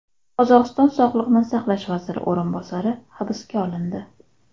Qozog‘iston sog‘liqni saqlash vaziri o‘rinbosari hibsga olindi.